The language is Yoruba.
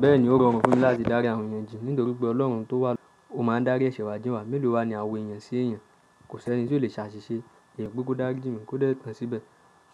Bẹ́ẹ̀ni ó rọrùn fún mi láti dárí àwọn èèyàn jìn nítorí pé Ọlọ́run tó wà o máa ń dárí ẹ̀ṣẹ̀ wa jíǹ wa. Mélòó wa ni awè é yan sí èeyàn? Kò sẹ́ni tí ó le ṣ'àṣìṣe. Ìyen pe kó dáríjì mi kò dẹ́ẹ̀ tán s'íbẹ̀.